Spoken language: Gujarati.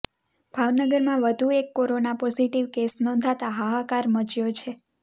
ભાવનગરમાં વધુ એક કોરોના પોઝીટીવ કેસ નોંધાતા હાહાકાર મચ્યો છે